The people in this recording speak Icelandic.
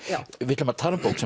við ætlum að tala um bók